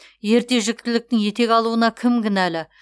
ерте жүктіліктің етек алуына кім кінәлі